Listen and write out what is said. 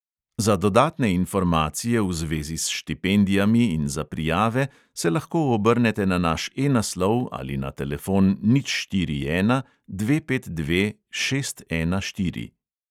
Za dodatne informacije v zvezi s štipendijami in za prijave se lahko obrnete na naš E naslov ali na telefon nič štiri ena dve pet dve šest ena štiri.